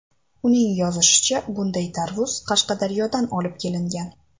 Uning yozishicha, bunday tarvuz Qashqadaryodan olib kelingan.